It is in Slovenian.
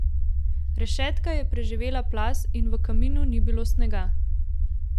Rešetka je preživela plaz in v kaminu ni bilo snega.